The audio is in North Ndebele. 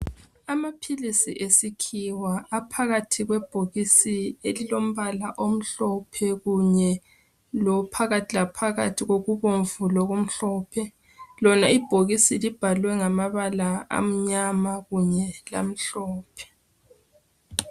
Amaphilisi esikhiwa aphakathi kwebhokisi elilombala omhlophe kunye lophakathi laphakathi kokubomvu lokumhlophe. Lona ibhokisi libhalwe ngamabala amnyama kunye lamhlophe.